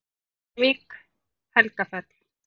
Reykjavík: Helgafell.